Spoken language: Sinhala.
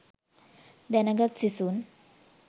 දැනගත් සිසුන්